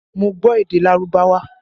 Mo gbọ́ èdè Lárúbáwá